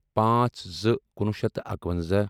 پانٛژھ زٕ کُنوُہ شیٚتھ تہٕ اکونٛزاہ